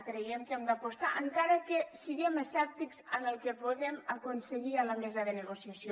creiem que hi hem d’apostar encara que siguem escèptics amb el que puguem aconseguir a la mesa de negociació